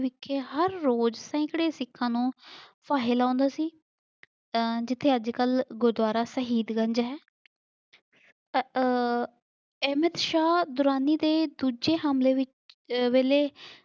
ਕੇ ਹਰ ਰੋਜ਼ ਸੈਂਕੜੇ ਸਿੱਖਾਂ ਨੂੰ ਫਾਹੇ ਲਾਉਂਦਾ ਸੀ ਆਹ ਜਿਥੇ ਅੱਜ ਕੱਲ ਗੁਰਦੁਆਰਾ ਸਹੀਦ ਗੰਜ ਹੈ ਆਹ ਅਹਿਮਦ ਸ਼ਾਹ ਦੋਰਾਨੀ ਦੇ ਦੂਜੇ ਹਮਲੇ ਵਿ ਅਹ ਵੇਲੇ